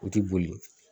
O tɛ boli